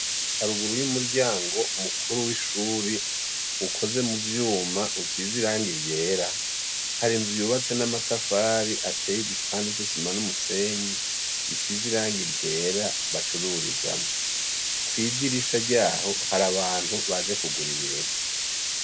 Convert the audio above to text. Haruguru y' umuryango mukuru w' ishure ukoze mu vyuma usize irangi ryera , hari inzu yubatse n' amatafari ateye igipande c' isima n' umusenyi , gisize irangi ryera bacururizamwo . Kw' idirisha ryaho hari abantu baje kugura ibintu .